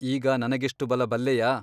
ಈಗ ನನಗೆಷ್ಟು ಬಲ ಬಲ್ಲೆಯಾ ?